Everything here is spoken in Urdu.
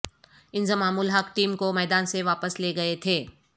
انضمام الحق ٹیم کو میدان سے واپس لے گئے تھے